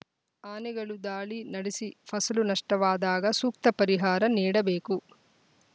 ಆನೆಗಳು ದಾಳಿ ನಡೆಸಿ ಫಸಲು ನಷ್ಟವಾದಾಗ ಸೂಕ್ತ ಪರಿಹಾರ ನೀಡಬೇಕು